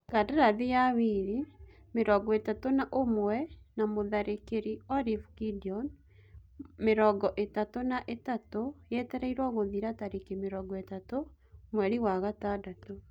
Kandarathi ya Wili, mĩrongoĩtatu na-ũmwe na mũtharĩkĩri Olive Gideon, mĩrongoĩtatũ na-ĩtatu, yetereirwo gũthira tarĩki mĩrongoĩtatũ mweri wa-gatandatũ.